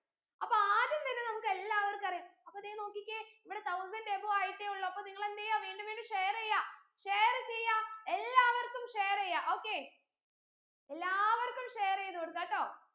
അപ്പൊ ആദ്യം തന്നെ നമ്മുക്കേല്ലവർക്കും അറിയ അപ്പോ ദേ നോക്കിക്കേ ഇവിടെ thousand above ആയിട്ടെ ഉള്ളു അപ്പൊ നിങ്ങൾ എന്തെയ്യ വീണ്ടും വീണ്ടും share യ്യാ share എയ്യാ എല്ലാവർക്കും share എയ്യ okay എല്ലാവർക്കും share എയ്ത് കൊടുക്കാട്ടോ